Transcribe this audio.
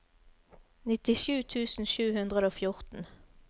nittisju tusen sju hundre og fjorten